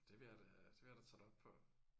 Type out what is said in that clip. Det vil jeg da det vil jeg da tage dig op på